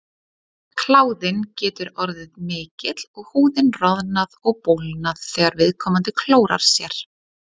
kláðinn getur orðið mikill og húðin roðnað og bólgnað þegar viðkomandi klórar sér